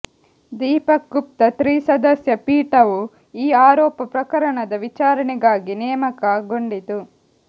ದೀಪಕ್ ಗುಪ್ತಾ ತ್ರಿಸದಸ್ಯ ಪೀಠವು ಈ ಆರೋಪ ಪ್ರಕಣದ ವಿಚಾರಣೆಗಾಗಿ ನೇಮಕಗೊಂಡಿತು